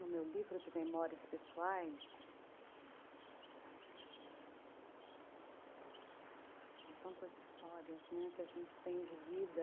No meu livro de memórias pessoais... Aí, são tantas histórias, né, que a gente tem de vida...